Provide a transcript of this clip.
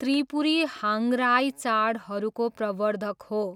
त्रिपुरी हाङ्गराई चाडहरूको प्रवर्द्धक हो।